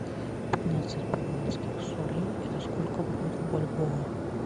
пятнадцать перуанских солей это сколько будет в бальбоа